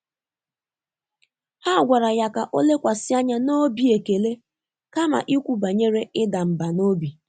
Há gwàrà yá kà ọ́ lékwàsị́ ányá n’óbí ékèlé kámà íkwú bànyèrè ị́dà mbà n’óbí.